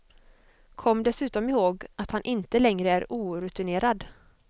Kom dessutom ihåg, att han inte längre är orutinerad.